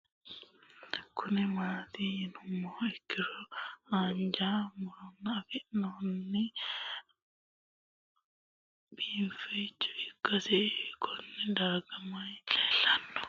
Kuni mati yinumoha ikiro hanja murowa afine'mona bifadoricho ikana isino Kone darga mayi leelanno yinumaro muuze hanannisu timantime gooranna buurtukaane